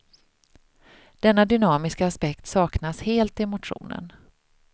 Denna dynamiska aspekt saknas helt i motionen.